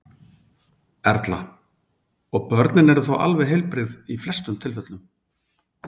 Erla: Og börnin eru þá alveg heilbrigð í flestum tilfellum?